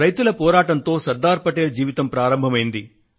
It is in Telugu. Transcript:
రైతుల పోరాటంతో శ్రీ సర్దార్ పటేల్ జీవితం ప్రారంభమైంది